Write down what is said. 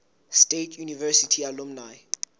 state university alumni